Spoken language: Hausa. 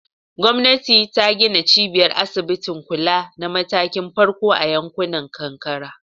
Gwamnati ta gina cibiyar asibitin kula na matakin farko a yankunan karkara.